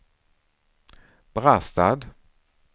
Brastad